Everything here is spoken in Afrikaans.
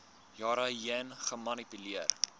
jare heen gemanipuleer